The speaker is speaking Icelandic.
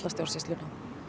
stjórnsýsluna